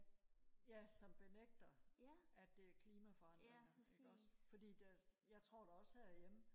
ja som benægter at det er klimaforandringer ikke også fordi der jeg tror da også herhjemme